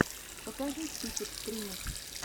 покажи список стримов